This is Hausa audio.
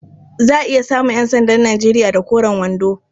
Za a iya samun ƴansandan Nijeriya da koren wando.